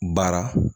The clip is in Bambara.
Baara